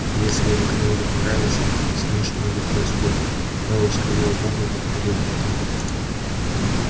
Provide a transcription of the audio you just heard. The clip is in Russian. и если это кому-нибудь не нравится с ним что-нибудь происходит мэллоу скривил губы и повторил я там был